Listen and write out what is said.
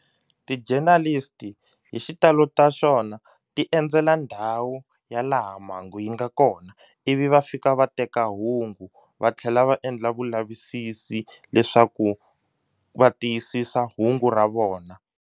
Ti-journalist hi xitalo ta xona ti endzela ndhawu ya laha mhangu yi nga kona ivi va fika va teka hungu va tlhela va endla vulavisisi leswaku va tiyisisa hungu ra vona.